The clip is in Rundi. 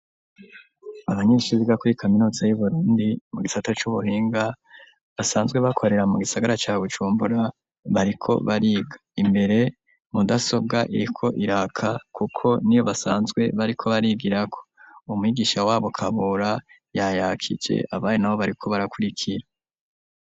Abanyeshure biga kuri kaminuza y'Uburundi, mu gisata c'ubuhinga, basanzwe bakorera mu gisagara ca Bujumbura, bariko bariga. Imbere mudasobwa iriko iraka kuko niyo basanzwe bariko barigirako. Umwigisha w'abo Kabura yayakije, abana nabo bariko barakurikira.